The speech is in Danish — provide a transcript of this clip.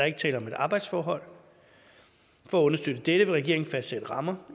ikke tale om et arbejdsforhold for at understøtte dette vil regeringen fastsatte rammer